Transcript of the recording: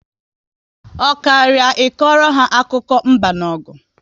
Ọ karịa I kọrọ ha akụkọ mba na ọgụ